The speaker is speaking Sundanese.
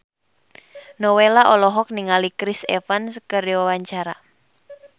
Nowela olohok ningali Chris Evans keur diwawancara